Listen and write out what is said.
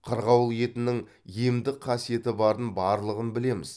қырғауыл етінің емдік қасиеті барын барлығын білеміз